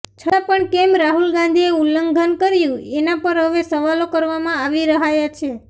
છતાં પણ કેમ રાહુલ ગાંધીએ ઉલ્લંઘન કર્યું એનાં પર હવે સવાલો કરવામાં આવી રહાયા છે